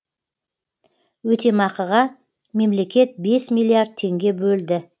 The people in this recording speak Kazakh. өтемақыға мемлекет бес миллиард теңге бөлді